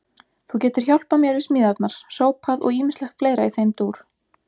Þú getur hjálpað mér við smíðarnar, sópað og ýmislegt fleira í þeim dúr.